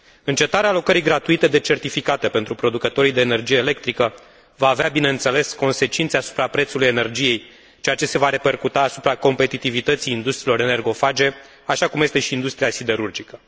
Încetarea alocării gratuite de certificate pentru producătorii de energie electrică va avea, bineînțeles, consecințe asupra prețului energiei, ceea ce se va repercuta asupra competitivității industriilor energofage, așa cum este și industria siderurgică.